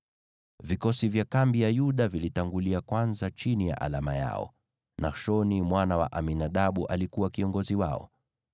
Vikosi vya kambi ya Yuda vilitangulia kwanza chini ya alama yao. Nashoni mwana wa Aminadabu alikuwa kiongozi wao.